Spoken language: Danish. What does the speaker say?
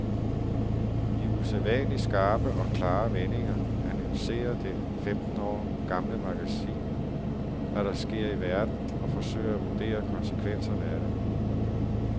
I usædvanligt skarpe og klare vendinger analyserer det femten år gamle magasin, hvad der sker i verden og forsøger at vurdere konsekvenserne af det.